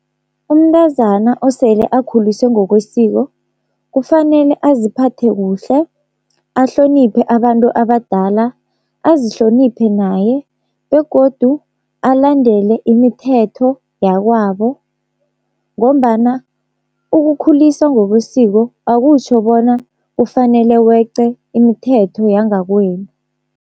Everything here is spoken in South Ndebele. Umntazana osele akhuliswe ngokwesiko kufanele aziphathe kuhle, ahloniphe abantu abadala azihloniphe naye begodu alandele imithetho yakwabo. Ngombana ukukhuliswa ngokwesiko akutjho bona kufanele weqe imithetho yangakwenu.